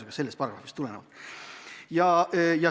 Ei ole selles paragrahvis vastuolu põhiseadusega.